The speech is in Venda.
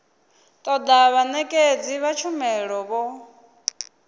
toda vhanekedzi vha tshumelo vho